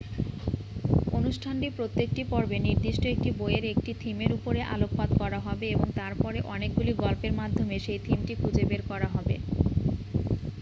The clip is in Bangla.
অনুষ্ঠানটির প্রত্যেকটি পর্বে নির্দিষ্ট একটি বইয়ের একটি থিমের উপরে আলোকপাত করা হবে এবং তারপরে অনেকগুলি গল্পের মাধ্যমে সেই থিমটি খুঁজে বের করা হবে